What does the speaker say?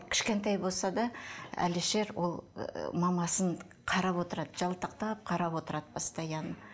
кішкентай болса да әлішер ол ыыы мамасын қарап отырады жалтақтап қарап отырады постоянно